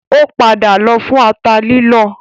Ó padà lọ fún ata lílọ